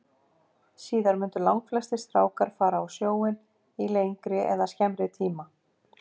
Síðar mundu langflestir strákar fara á sjóinn í lengri eða skemmri tíma.